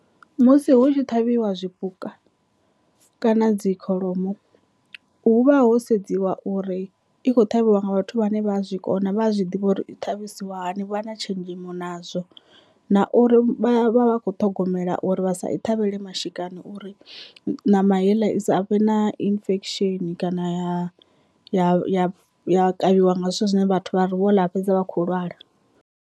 Musi hu tshi ṱhavhiwa zwipuka kana dzi kholomo hu vha ho sedziwa uri i khou ṱhavhiwa nga vhathu vhane vha zwi kona vha a zwi ḓivha uri i ṱavhisiwa hani vha na tshenzhemo nazwo, na uri vha vha vhakho ṱhogomela uri vha sa i ṱhavhele mashika hani uri ṋama heiḽa i sa vhe na infection kana ya ya ya ya kavhiwa nga zwithu zwine vhathu vha ri vho ḽa fhedza vhakho lwala.